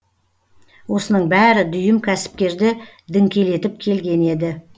осының бәрі дүйім кәсіпкерді діңкелетіп келген еді